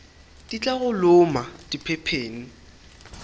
di tla go loma diphepheng